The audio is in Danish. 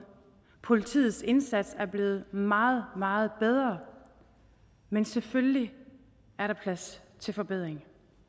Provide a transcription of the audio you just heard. politiets indsats er blevet meget meget bedre men selvfølgelig er der plads til forbedringer